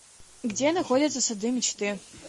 где находится сады мечты